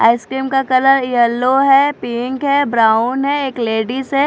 Ice cream का colour yellow है pink है ब्राउन है एक लेडीज है।